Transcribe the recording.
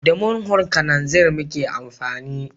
Da murhun kananzir muke amfani